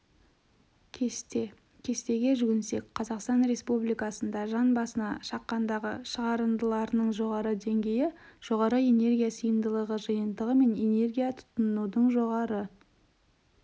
кесте кестеге жүгінсек қазақстан республикасында жан басына шаққандағы шығарындыларының жоғары деңгейі жоғары энергия сиымдылығы жиынтығы мен энергия тұтынудың жоғары